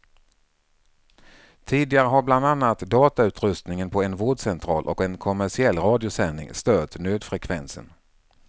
Tidigare har bland annat datautrustningen på en vårdcentral och en kommersiell radiosändning stört nödfrekvensen.